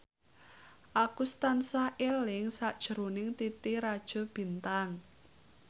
Agus tansah eling sakjroning Titi Rajo Bintang